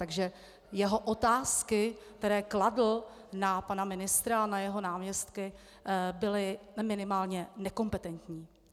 Takže jeho otázky, které kladl na pana ministra a na jeho náměstky, byly minimálně nekompetentní.